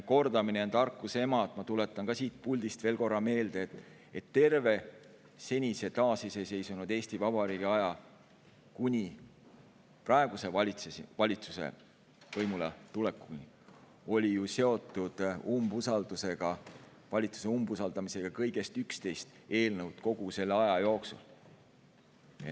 Kordamine on tarkuse ema, nii et ma tuletan ka siit puldist veel korra meelde, et terve senise taasiseseisvunud Eesti Vabariigi aja kuni praeguse valitsuse võimuletulekuni, kogu selle aja jooksul oli valitsuse usaldamisega seotud kõigest 11 eelnõu.